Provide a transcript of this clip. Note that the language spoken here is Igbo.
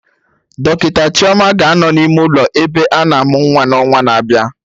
Dọkịta Chioma ga-anọ n'ime ụlọ ebe ana amụ nwa n'ọnwa na-abịa